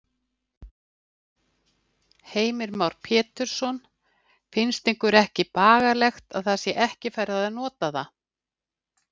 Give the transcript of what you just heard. Heimir Már Pétursson: Finnst ykkur ekki bagalegt að það sé ekki farið að nota það?